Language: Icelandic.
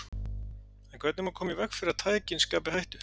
En hvernig má koma í veg fyrir að tækin skapi hættu?